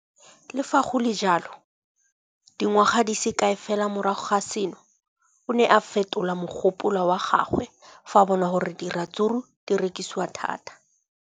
Le fa go le jalo, dingwaga di se kae fela morago ga seno, o ne a fetola mogopolo wa gagwe fa a bona gore diratsuru di rekisiwa thata.